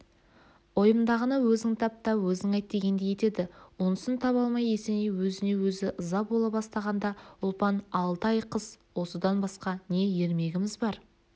ойымдағыны өзің тап та өзің айт дегендей етеді онысын таба алмай есеней өзіне өзі ыза бола бастағанда ұлпан алты ай қыс осыдан басқа не ермегіміз бар